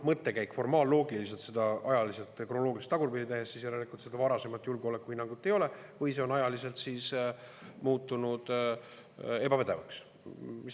Mõttekäik formaalloogiliselt on selline, kui seda ajaliselt ja kronoloogiliselt tagurpidi teha, et järelikult seda varasemat julgeolekuhinnangut ei ole või see on ajas muutunud ebapädevaks.